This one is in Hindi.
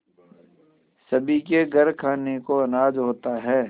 सभी के घर खाने को अनाज होता है